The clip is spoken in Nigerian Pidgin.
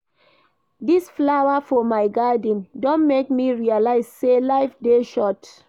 Dis flower for my garden don make me realize sey life dey short.